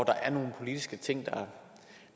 er nogle politiske ting